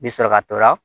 Bi sɔrɔ ka to la